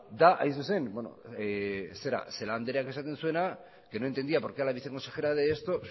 da celaák andreak esaten zuena da que no entendía por qué a la viceconsejera de esto